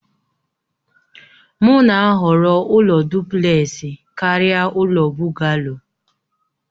M na-ahọrọ ụlọ dụplesi karịa ụlọ Bugaloo